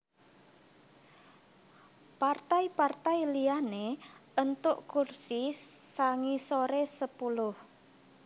Partai partai liyané éntuk kursi sangisoré sepuluh